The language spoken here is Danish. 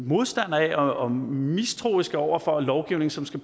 modstandere af og mistroiske over for lovgivning som skal